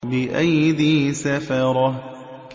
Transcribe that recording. بِأَيْدِي سَفَرَةٍ